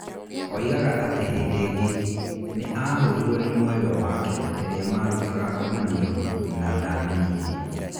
Oigaga atĩ hĩndĩ ĩngĩ nĩ aahũrirũo nĩ mwendwa wake rĩrĩa maarutaga ngomanio na ndamenyithirio.